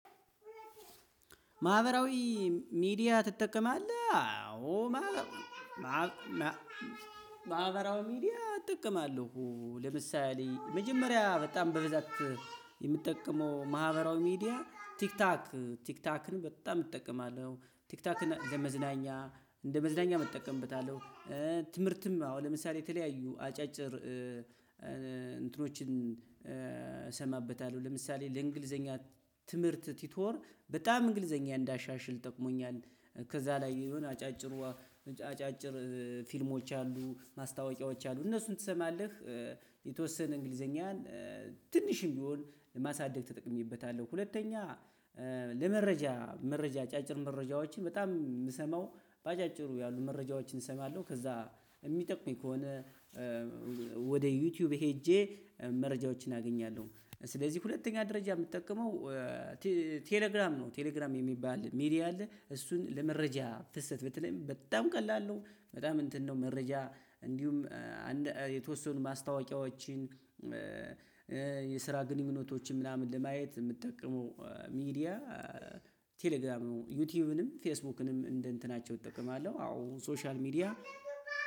ማህበራዊ ሚዲያ ትጠቀማለህ? አዎ። ማህበራዊ ሚዲያ እጠቀማለሁ ለምሳሌ መጀመሪያ በጣም በብዛት የምጠቀመው ማህበራዊ ሚዲያ ቲክታክ ቲክታክን በጣም እጠቀማለሁ ቲክታክን ለ መዝናኛ እንደ መዝናኛም እጠቀምበታለሁ። ትምህርትም አዎ ለምሳሌ የተለያዩ አጫጭር እንትኖችን እሰማበታለሁ ለምሳሌ ለእንግሊዘኛ ትምህርት ቲቶር በጣም እንግሊዘኛ እንዳሻሽል ጠቅሞኛል። ከዛ ላይ የሆነ አጫጭር አጫጭር ፊልሞች አሉ ማስታወቂያዎች እነሱን ትሰማለህ የተወሰነ እንግሊዘኛን ትንሽም ቢሆን ለማሳደግ ተጠቅሜበታለሁ። ሁለተኛ ለመረጃ መረጃ አጫጭር መረጃዎችን በጣም ምሰማው በአጫጭሩ ያሉ መረጃዎችን እሰማለሁ። ከዛ የሚጠቅመኝ ከሆነ ወደ ዩቲዩብ ሄጄ መረጃዎችን አገኛለሁ። ስለዚህ ሁለተኛ ደረጃ የምጠቀመው ቴሌግራም ነው። ቴሌግራም የሚባል ሚዲያ አለ እሱን ለመረጃ ፍሰት በተለይም በጣም ቀላል ነው። በጣም እንትን ነው መረጃ እንዲሁም የተወሰኑ ማስታወቂያዎችን የስራ ግንኙነቶችን ምናምን ለማየት የምጠቀመው ሚዲያ ቴሌግራም ነው። ዩቲዩብንም ፌስቡክንም እንደ እንትናቸው እጠቀማለሁ አዎ ሶሻል ሚዲያ።